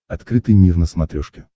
открытый мир на смотрешке